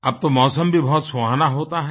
अब तो मौसम भी बहुत सुहाना होता है